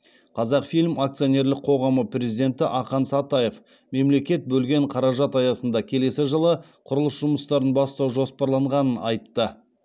қазақфильм акционерлік қоғамы президенті ақан сатаев мемлекет бөлген қаражат аясында келесі жылы құрылыс жұмыстарын бастау жоспарланғанын айтты